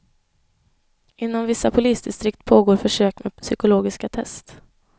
Inom vissa polisdistrikt pågår försök med psykologiska test.